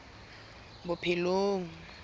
bophelong